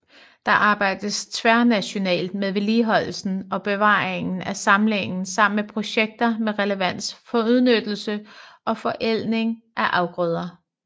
Der arbejdes tværnationalt med vedligeholdelsen og bevaringen af samlingen samt med projekter med relevans for udnyttelse og forædling af afgrøder